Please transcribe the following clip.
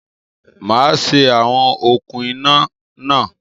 Màá ṣe awọn okùn iná náà